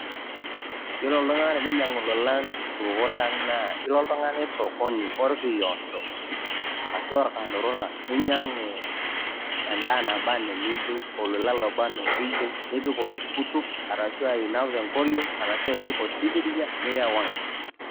iyiolo iltung'anak lang' tininyang'u edaa tosupuko lang' naa ilo oltung'ani sokoni orkiodo ashu orkanturura, ninyang'u edaa naba enaa eniyieu, olola oba enaa oliyieu nipik oltukutuk ashu inap tenkoring', ashu ipik osikiria nirewaa.